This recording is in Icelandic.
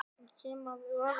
Ég kem af öræfum.